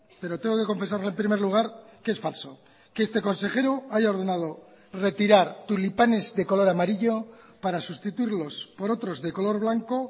pero tengo que confesarle en primer lugar que es falso que este consejero haya ordenado retirar tulipanes de color amarillo para sustituirlos por otros de color blanco